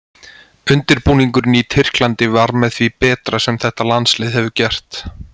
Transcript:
Undirbúningurinn í Tyrklandi var með því betra sem þetta landslið hefur gert.